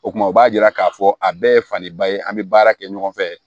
O kumana o b'a yira k'a fɔ a bɛɛ ye fadenba ye an bɛ baara kɛ ɲɔgɔn fɛ